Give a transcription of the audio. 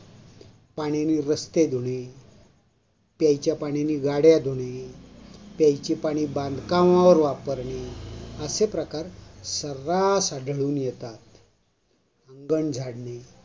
पाण्याने रस्ते धुणे, प्यायच्या पाण्याने गाड्या धुणे, प्यायचे पाणी बांधकामावर वापरणे, असे प्रकार सर्रास आढळून येतात.